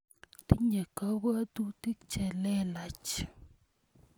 Tinye kapwotutik che lelach.